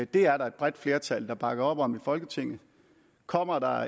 det er der et bredt flertal der bakker op om i folketinget kommer der